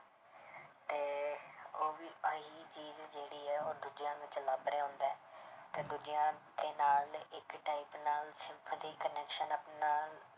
ਤੇ ਉਹ ਵੀ ਆਹੀ ਚੀਜ਼ ਜਿਹੜੀ ਹੈ ਉਹ ਦੂਜਿਆਂ ਵਿੱਚ ਲੱਭ ਰਿਹਾ ਹੁੰਦਾ ਹੈ ਤੇ ਦੂਜਿਆਂ ਦੇ ਨਾਲ ਇੱਕ type ਨਾਲ sympathy connection ਆਪਣਾ